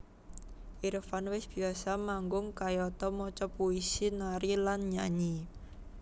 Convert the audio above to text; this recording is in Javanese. Irfan wis biyasa manggung kayata maca puisi nari lan nyanyi